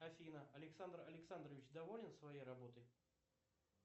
афина александр александрович доволен своей работой